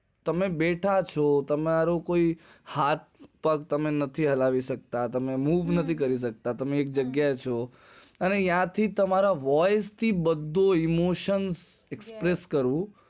તમે બેઠા છો તમારા કોઈક હાથ પગ હલાવી નથી શકતા તમે એક જગ્યા એ છો અને ત્યાં થી તમારે voice emotion expres કરવું